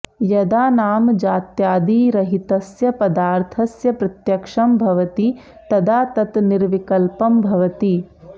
यदा नामजात्यादिरहितस्य पदार्थस्य प्रत्यक्षं भवति तदा तत् निर्विकल्पं भवति